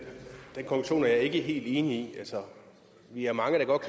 jeg ikke helt enig i vi er mange der godt